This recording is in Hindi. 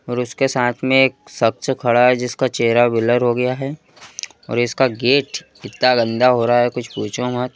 और उसके साथ में एक सबसे खड़ा है जिसका चेहरा ब्लर हो गया है और इसका गेट इतना गंदा हो रहा है कुछ पूछो मत।